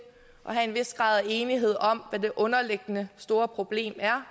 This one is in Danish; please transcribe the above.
have en vis grad af enighed om hvad det underliggende store problem er